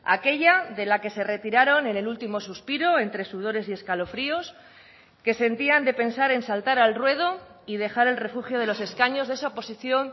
aquella de la que se retiraron en el último suspiro entre sudores y escalofríos que sentían de pensar en saltar al ruedo y dejar el refugio de los escaños de esa oposición